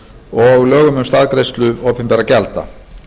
og lögum um staðgreiðslu opinberra gjalda